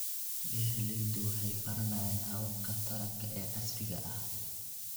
Beeraleydu waxay baranayaan hababka taranka ee casriga ah.